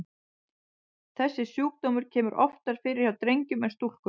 Þessi sjúkdómur kemur oftar fyrir hjá drengjum en stúlkum.